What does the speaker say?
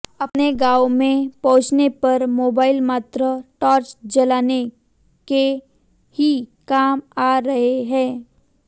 अपने गांवों में पहुंचने पर मोबाइल मात्र टार्च जलाने की ही काम आ रहे हैं